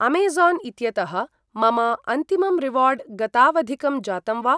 Amazon इत्यतः मम अन्तिमं रिवार्ड् गतावधिकं जातं वा?